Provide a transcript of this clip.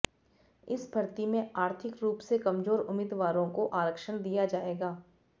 इस भर्ती में आर्थिक रूप से कमजोर उम्मीदवारों को आरक्षण दिया जाएगा